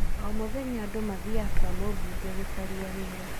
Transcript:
O mũthenya andũ mathiaga kwa mũmbunge gũcaria wĩra